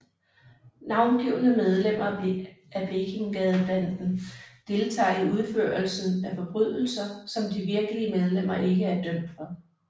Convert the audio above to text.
Navngivne medlemmer af Blekingegadebanden deltager i udførelsen af forbrydelser som de virkelige medlemmer ikke er dømt for